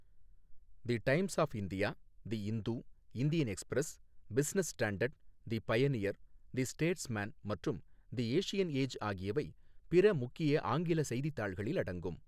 The times of India, the Hindu, Indian express, business standard, the pioneer, the statesman மற்றும் the Asian age ஆகியவை பிற முக்கிய ஆங்கில செய்தித்தாள்களில் அடங்கும்.